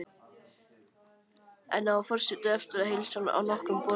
Enn á forseti eftir að heilsa á nokkrum borðum.